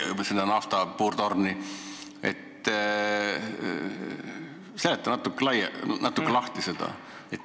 Seleta seda natuke lahti.